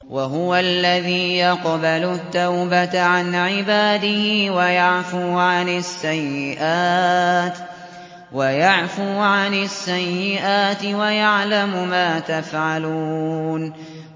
وَهُوَ الَّذِي يَقْبَلُ التَّوْبَةَ عَنْ عِبَادِهِ وَيَعْفُو عَنِ السَّيِّئَاتِ وَيَعْلَمُ مَا تَفْعَلُونَ